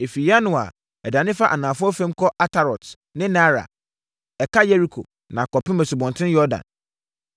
Ɛfiri Yanoa a, ɛdane fa anafoɔ fam kɔ Atarot ne Naara, ɛka Yeriko, na akɔpem Asubɔnten Yordan.